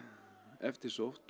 eftirsótt